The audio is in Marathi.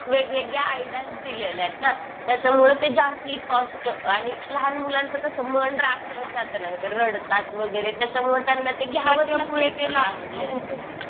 वेगवेगळ्या आयडीयाज दिलेल्या आहेत ना. त्याच्यामुळं ते जास्ती कॉस्ट आणि लहान मुलांचं कसं मन राखलंच जातं ना गं. ते रडतात वगैरे. त्याच्यामुळे त्यांना ते घ्यावंच लागत त्यांना आवडलेली गोष्ट.